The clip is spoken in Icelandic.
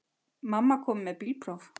Mamma komin með bílpróf.